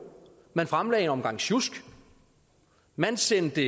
man fremlagde en omgang sjusk og man sendte